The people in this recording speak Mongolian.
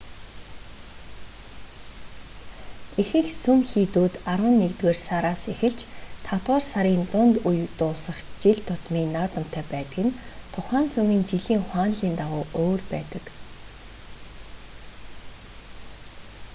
ихэнх сүм хийдүүд арван нэгдүгээр сараас эхэлж тавдугаар сарын дунд үед дуусах жил тутмын наадамтай байдаг нь тухайн сүмийн жилийн хуанлийн дагуу өөр байдаг